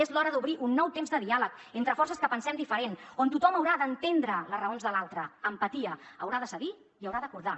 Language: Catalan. és l’hora d’obrir un nou temps de diàleg entre forces que pensem diferent on tothom haurà d’entendre les raons de l’altre empatia haurà de cedir i haurà d’acordar